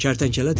Kərtənkələ dedi.